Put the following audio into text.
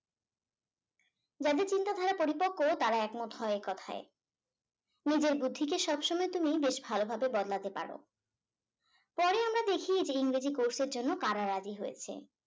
যাদের চিন্তা ধারা পরিপক্ক তারা একমত হয় এই কথাই নিজের বুদ্ধি কে তুমি বেশ ভালোভাবে বদলাতে পারো পরে আমরা দেখি যে ইংরেজি course এর জন্য করা রাজি হয়েছে